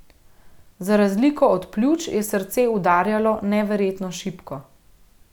Za razliko od pljuč, je srce udarjalo neverjetno šibko.